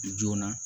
Joona